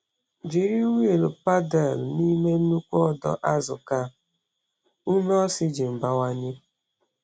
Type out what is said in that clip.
Jiri wiil paddle n’ime nnukwu ọdọ azụ ka ume oxygen bawanye.